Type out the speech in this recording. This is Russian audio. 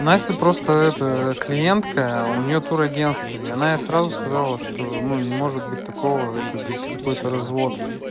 настя просто это клиентка у неё турагентство и она ей сразу сказала что ну не может быть такого это говорит какой-то развод